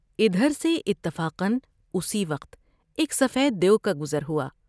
ادھر سے اتفاقا اسی وقت ایک سفید دیو کا گز رہوا ۔